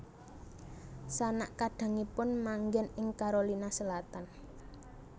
Sanak kadangipun manggen ing Carolina Selatan